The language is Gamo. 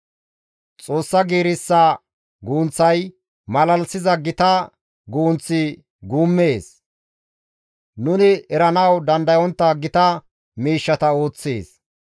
Xoossa giirissa gunththay malalisiza gita guunth guummees; nuni eranawu dandayontta gita miishshata ooththees.